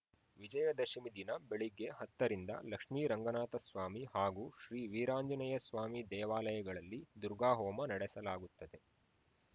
ವಿಜಯದಶಮಿ ದಿನ ಬೆಳಗ್ಗೆ ಹತ್ತರಿಂದ ಲಕ್ಷ್ಮೀರಂಗನಾಥಸ್ವಾಮಿ ಹಾಗೂ ಶ್ರೀ ವೀರಾಂಜನೇಯಸ್ವಾಮಿ ದೇವಾಲಯಗಳಲ್ಲಿ ದುರ್ಗಾ ಹೋಮ ನಡೆಸಲಾಗುತ್ತದೆ